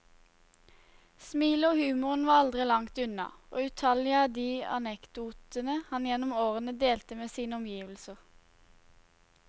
Smilet og humoren var aldri langt unna, og utallige er de anekdotene han gjennom årene delte med sine omgivelser.